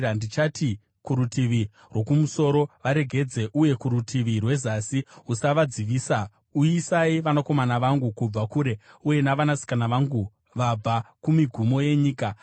Ndichati kurutivi rwokumusoro, ‘Varegedze!’ uye kurutivi rwezasi, ‘Usavadzivisa.’ Uyisai vanakomana vangu kubva kure, uye navanasikana vangu vabva kumigumo yenyika,